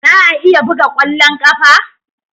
Za a iya buga kwallon kafa?